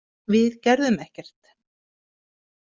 Við gerðum ekkert.